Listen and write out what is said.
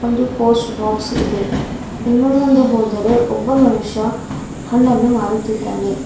ಒಂದು post box ಇದೆ ಇನ್ನು ಮುಂದೆ ಹೋದರೆ ಒಬ್ಬ ಮನುಷ್ಯ ಹಣ್ಣನ್ನು ಮಾರುತಿದ್ದಾನೆ.